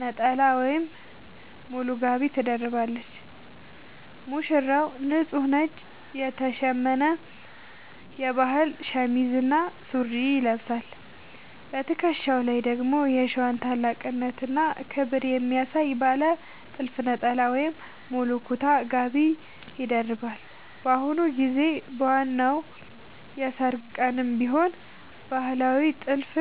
ነጠላ ወይም ሙሉ ጋቢ ትደርባለች። ሙሽራው፦ ንጹህ ነጭ የተሸመነ የባህል ሸሚዝ እና ሱሪ ይለብሳል። በትከሻው ላይ ደግሞ የሸዋን ታላቅነትና ክብር የሚያሳይ ባለ ጥልፍ ነጠላ ወይም ሙሉ ኩታ (ጋቢ) ይደርባል። በአሁኑ ጊዜ በዋናው የሠርግ ቀንም ቢሆን ባህላዊውን ጥልፍ